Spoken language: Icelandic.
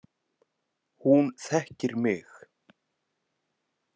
Hún þekkir mig